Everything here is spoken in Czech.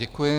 Děkuji.